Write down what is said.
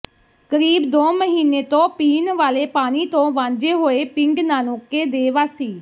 ਕਰੀਬ ਦੋ ਮਹੀਨੇ ਤੋਂ ਪੀਣ ਵਾਲੇ ਪਾਣੀ ਤੋਂ ਵਾਂਝੇ ਹੋਏ ਪਿੰਡ ਨਾਨੋਕੇ ਦੇ ਵਾਸੀ